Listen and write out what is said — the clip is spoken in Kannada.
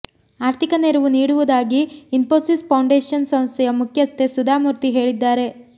ಆರ್ಥಿಕ ನೆರವು ನೀಡುವುದಾಗಿ ಇನ್ಫೋಸಿಸ್ ಫೌಂಡೇಶನ್ ಸಂಸ್ಥೆಯ ಮುಖ್ಯಸ್ಥೆ ಸುಧಾಮೂರ್ತಿ ಹೇಳಿದ್ದಾರೆ